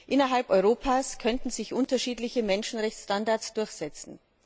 Innerhalb Europas könnten sich unterschiedliche Menschenrechtsstandards durchsetzen.